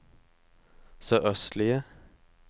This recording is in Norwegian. sørøstlige